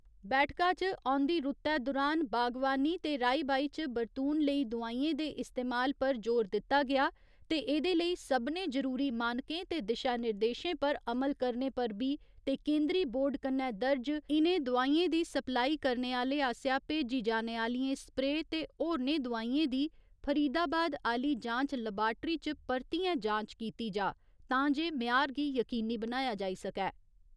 बैठका च औंदी रुत्तै दुरान बागवानी ते राई बाई च बरतून लेई दोआइयेंं दे इस्तमाल पर जोर दित्ता गेआ ते एह्दे लेई सभनें जरूरी मानकें ते दिशानिर्देशें पर अमल करने पर बी ते केंदरी बोर्ड कन्नै दर्ज, इनें दोआइयें दी सप्लाई करने आले आसेआ भेजी जाने आलियें स्प्रे ते होरनें दोआइयेंं दी फरीदाबाद आह्‌ली जांच लबाट्री च परतियें जांच कीती जा तां जे म्यार गी यकीनी बनाया जाई सकै।